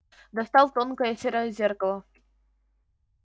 достал тонкое серое зеркало